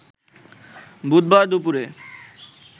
বুধবার দুপুরে